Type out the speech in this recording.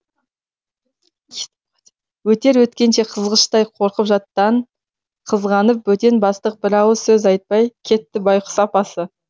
өтер өткенше қызғыштай қорып жаттан қызғанып бөтен бастақ бір ауыз сөз айтпай кетті байқұс апасы